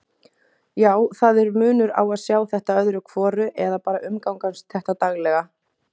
Já, það er munur á að sjá þetta öðru hvoru eða bara umgangast þetta daglega.